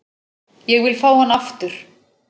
Ég vil fá hann aftur.